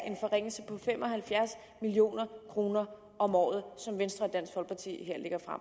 en forringelse på fem og halvfjerds million kroner om året som venstre